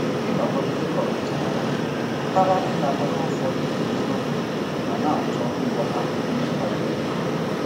Ịnọgide dị ka ọkachamara pụtara ịnakwere ụfọdụ eziokwu ma na-achọ ngwọta ndị bara uru.